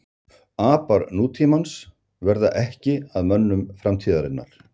apar nútímans verða ekki að mönnum framtíðarinnar